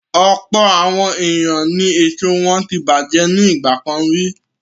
Ọ̀pọ̀ àwọn ènìyàn ni èso wọn tí bàjẹ́ ní ìgbà kan rí.